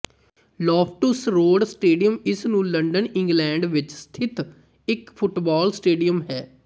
Loftus Road stadium ਇਸ ਨੂੰ London England ਵਿੱਚ ਸਥਿਤ ਇੱਕ ਫੁੱਟਬਾਲ ਸਟੇਡੀਅਮ ਹੈ